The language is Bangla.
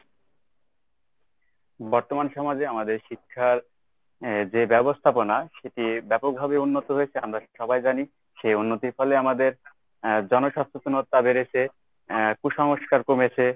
বর্তমান সমাজে আমাদের শিক্ষার এর যে ব্যবস্থাপনা সেটি ব্যপকভাবে উন্নত হয়েছে আমরা সবাই জানি। সে উন্নতির ফলে আমাদের আহ জন সচেতনতা বেড়েছে আহ কুসংস্কার কমেছে।